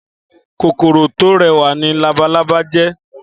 Kókóró tó rèwá ni làbálàbá jè